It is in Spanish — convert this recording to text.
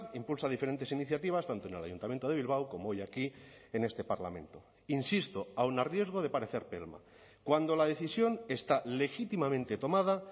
impulsa diferentes iniciativas tanto en el ayuntamiento de bilbao como hoy aquí en este parlamento insisto aun a riesgo de parecer pelma cuando la decisión está legítimamente tomada